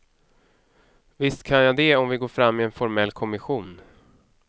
Visst kan jag det om vi går fram med en formell kommission.